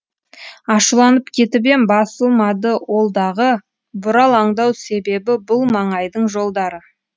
ашуланып кетіп ем басылмады ол дағы бұралаңдау себебі бұл маңайдың жолдары